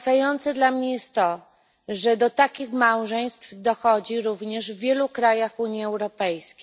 Wstrząsające dla mnie jest to, że do takich małżeństw dochodzi również w wielu krajach Unii Europejskiej.